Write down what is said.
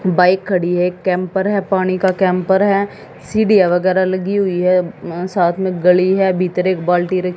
bike खड़ी है camper है पानी का कैंपर है सीढ़ियां वगैरा लगी हुई है अ साथ में गली है भीतर एक बाल्टी र--